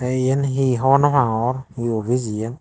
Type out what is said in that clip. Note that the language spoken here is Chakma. iyan he hobor nw pangor he office iyan.